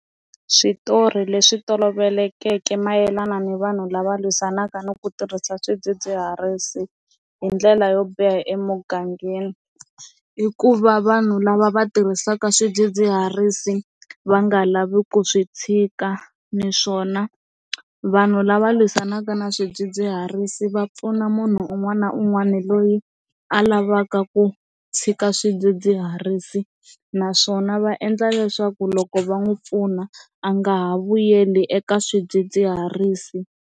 Switori leswi tolovelekeke mayelana ni vanhu lava lwisanaka ni ku tirhisa swidzidziharisi hi ndlela yo biha emugangeni i ku va vanhu lava va tirhisaka swidzidziharisi va nga lavi ku swi tshika naswona vanhu lava lwisanaka na swidzidziharisi va pfuna munhu un'wana na un'wana loyi a lavaka ku tshika swidzidziharisi naswona va endla leswaku loko va n'wi pfuna a nga ha vuyeli eka swidzidziharisi.